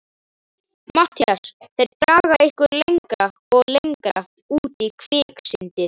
MATTHÍAS: Þeir draga ykkur lengra og lengra út í kviksyndið!